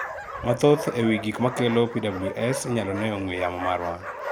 mathoth eee wii gikmakelo PWS inyalo nee ei ong'we yamo marwa